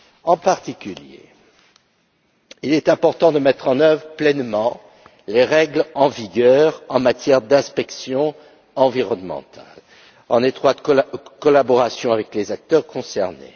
En particulier, il est important de mettre en œuvre pleinement les règles en vigueur en matière d'inspection environnementale, en étroite collaboration avec les acteurs concernés.